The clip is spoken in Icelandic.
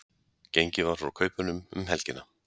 Gengið var frá kaupunum um helgina